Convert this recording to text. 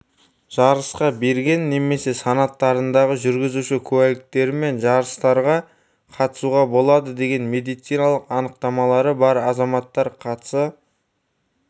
жарысқа берген немесе санаттарындағы жүргізуші куәліктері мен жарыстарға қатысуға болады деген медициналық анықтамалары бар азаматтар қатыса